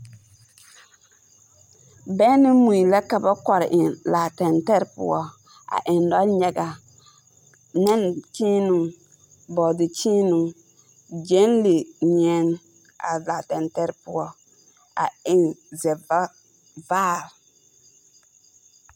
Bɛŋ ne mui la ka ba kɔre eŋ laa tɛntɛre poɔ, a eŋ nɔnyaga, nɛnkyeenoo, bɔɔdekyeenoo, gyenlenyeɛne a laa tɛntɛre poɔ a eŋ zɛva… vaare.